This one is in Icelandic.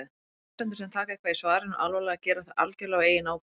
Lesendur sem taka eitthvað í svarinu alvarlega gera það algjörlega á eigin ábyrgð.